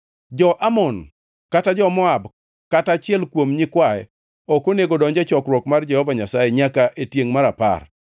Jo-Amon kata jo-Moab kata achiel kuom nyikwaye ok onego odonj e chokruok mar Jehova Nyasaye nyaka e tiengʼ mar apar,